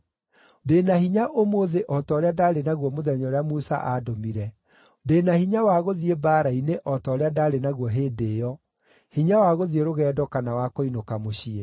Ndĩ na hinya ũmũthĩ o ta ũrĩa ndarĩ naguo mũthenya ũrĩa Musa aandũmire; ndĩ na hinya wa gũthiĩ mbaara-inĩ o ta ũrĩa ndaarĩ naguo hĩndĩ ĩyo, hinya wa gũthiĩ rũgendo kana wa kũinũka mũciĩ.